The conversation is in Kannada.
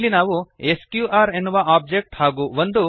ಇಲ್ಲಿ ನಾವು ಸ್ಕ್ಯೂಆರ್ ಎನ್ನುವ ಒಬ್ಜೆಕ್ಟ್ ಹಾಗೂ ಒಂದು